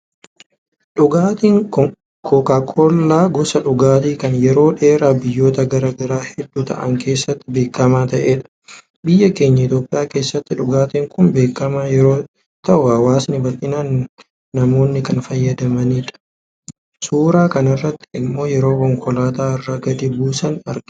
Dhugaatiin kookaakoollaa gosa dhugaatii kanbyeroo dheeraaf biyyoota gara garaa hedduu ta'an keessatti beekamaa ta'edha. Biyya keenya Itoophiyaa keessattis dhugaatiin kun beekamaa yeroo ta'u hawwaasni baldhinaan namoonni kan fayyadamaniidha. Suuraa kanarratti immoo yeroo konkolaataa irraa gadi buusani argina.